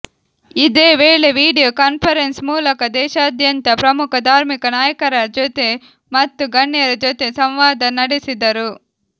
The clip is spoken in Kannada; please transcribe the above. ಇದೇವೇಳೆ ವಿಡಿಯೊ ಕಾನ್ಫರೆನ್ಸ್ ಮೂಲಕ ದೇಶಾದ್ಯಂತ ಪ್ರಮುಖ ಧಾರ್ಮಿಕ ನಾಯಕರ ಜೊತೆ ಮತ್ತು ಗಣ್ಯರ ಜೊತೆ ಸಂವಾದ ನಡೆಸಿದರು